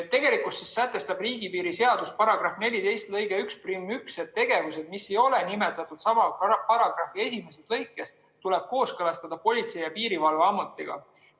Tegelikkuses sätestab riigipiiri seaduse § 14 lõige 11, et tegevused, mida ei ole nimetatud sama paragrahvi esimeses lõikes, tuleb kooskõlastada Politsei‑ ja Piirivalveametiga.